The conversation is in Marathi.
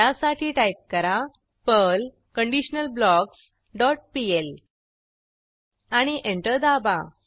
त्यासाठी टाईप करा पर्ल कंडिशनलब्लॉक्स डॉट पीएल आणि एंटर दाबा